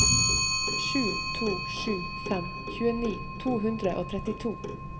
sju to sju fem tjueni to hundre og trettito